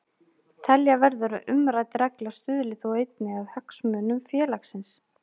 Telja verður að umrædd regla stuðli þó einnig að hagsmunum félagsins.